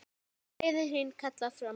Gleðin þín kallar fram bros.